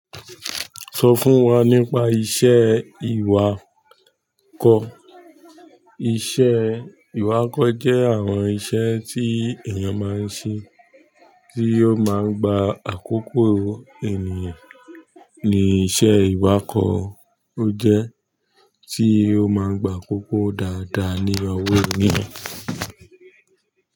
Sọ fún wa nípa iṣẹ́ ìwakọ̀. Iṣẹ́ ìwakọ̀ jẹ́ àwọn iṣẹ́ tí èèyàn máa ń ṣe, tí ó máa ń gba àkókò ènìyàn. Ni iṣẹ́ ìwakọ̀, ó jẹ́ tí ó máa ń gba àkókò dáadáa ní ọwọ oníyẹ̀.